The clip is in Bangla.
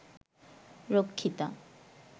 রক্ষিতা